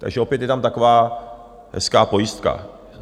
Takže opět je tam taková hezká pojistka.